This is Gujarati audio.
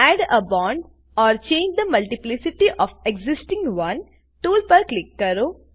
add a bond or change the multiplicity of existing one tool પર ક્લિક કરો